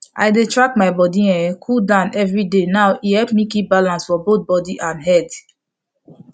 i dey track my body um cooldown every day now e help me keep balance for both body and head